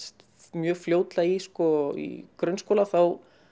mjög fljótlega í í grunnskóla þá